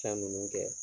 San ninnu kɛ